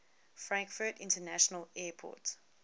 frankfurt international airport